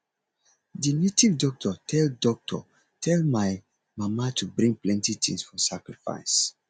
the native doctor tell doctor tell my mama to bring plenty things for sacrifice